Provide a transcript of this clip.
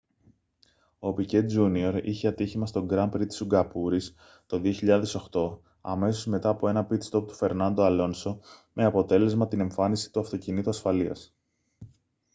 ο πικέ τζούνιορ είχε ατύχημα στο γκραν πρι της σιγκαπούρης το 2008 αμέσως μετά από ένα πιτ στοπ του φερνάντο αλόνσο με αποτέλεσμα την εμφάνιση του αυτοκινήτου ασφαλείας